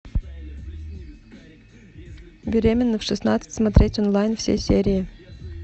беременна в шестнадцать смотреть онлайн все серии